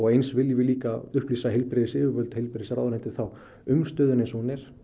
eins viljum við líka upplýsa heilbrigðisyfirvöld og heilbrigðisráðuneytið um stöðuna eins og hún er